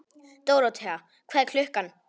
Dóróthea, hvað er klukkan?